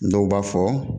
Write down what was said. Dɔw b'a fɔ